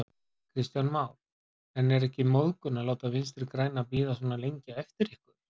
Kristján Már: En er ekki móðgun að láta Vinstri-græna bíða svona lengi eftir ykkur?